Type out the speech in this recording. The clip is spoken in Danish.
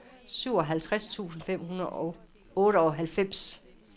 syvoghalvtreds tusind fem hundrede og otteoghalvfems